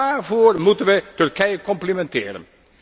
Waarvoor moeten wij Turkije complimenteren?